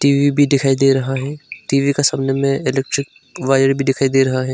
TV भी दिखाई दे रहा है टी_वी का सामने में इलेक्ट्रिक वायर भी दिखाई दे रहा है।